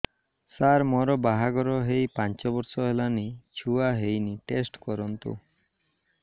ସାର ମୋର ବାହାଘର ହେଇ ପାଞ୍ଚ ବର୍ଷ ହେଲାନି ଛୁଆ ହେଇନି ଟେଷ୍ଟ କରନ୍ତୁ